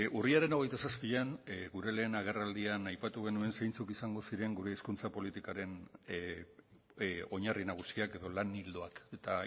urriaren hogeita zazpian gure lehen agerraldian aipatu genuen zeintzuk izango ziren gure hizkuntza politikaren oinarri nagusiak edo lan ildoak eta